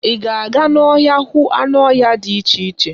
Ị ga-aga n'ọhịa hụ anụ ọhịa dị iche iche?